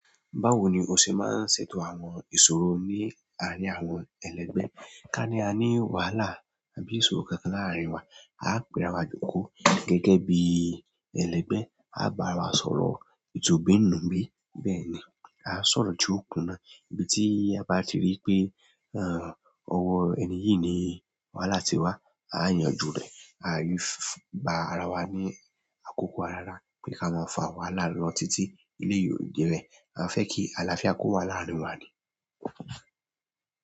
Báwo ni o ṣe máa ń ṣètò àwọn ìṣòro ní àárín àwọn ẹlẹgbẹ́? Ká ní a ní wàhálà àbí ìṣòro kankan láàárín wa, a ó pe ara wa jókòó gẹ́gẹ́ bí ẹlẹgbẹ́, a bá ara wa sọ̀rọ̀ ìtubi-nùbí. Bẹ́ẹ̀ ni, a ó sọ̀rọ̀ ju òkun náà, ibi tí a bá ti rí pé ọ̀wọ̀ ẹni yìí ni wàhálà ti wá, a yànjú rẹ̀. A yóò gba ara wa ní àkókò ara ara pé ká máa fà wàhálà lọ títí ilé yìí ò jẹ́ẹ̀. A fẹ́ kí àlàáfíà kó wà láàárín wa ni.